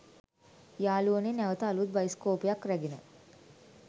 යාළුවනේ නැවත අළුත් බයිස්කෝපයක් රැගෙන